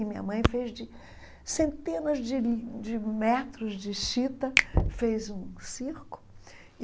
E minha mãe fez de centenas de de metros de chita, fez um circo.